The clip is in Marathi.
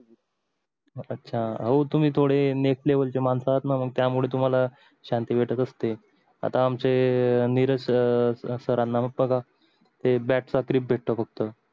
अच्छा हो तुम्ही थोडे मानस आहेत न मग त्यामुळे तुम्हाला शांती भेटत असतील आता आमचे नीरज सर सरांना बघा ते भेटत फक्त